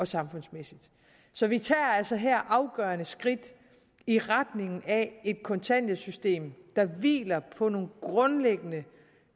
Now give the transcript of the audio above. samfundsmæssigt så vi tager altså her afgørende skridt i retning af et kontanthjælpssystem der hviler på nogle grundlæggende